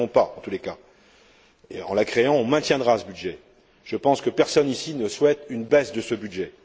En la créant, on maintiendra ce budget. Je pense que personne ici ne souhaite une baisse de ce budget.